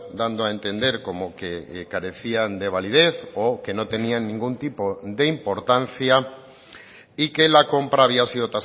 dando a entender como que carecían de validez o que no tenían ningún tipo de importancia y que la compra había sido